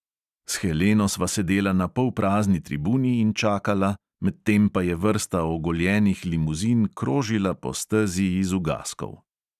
S heleno sva sedela na polprazni tribuni in čakala, medtem pa je vrsta ogoljenih limuzin krožila po stezi iz ugaskov.